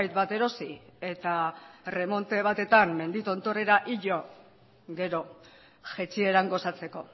bat erosi eta erremonte batetan mendi tontorrera igo gero jaitsieran gozatzeko